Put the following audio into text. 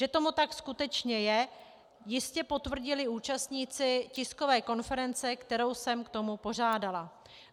Že tomu tak skutečně je, jistě potvrdili účastníci tiskové konference, kterou jsem k tomu pořádala.